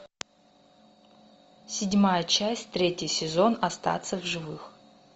седьмая часть третий сезон остаться в живых